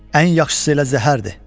Ən yaxşısı elə zəhərdir.